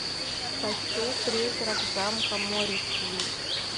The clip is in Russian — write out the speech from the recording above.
хочу призрак замка моррисвилль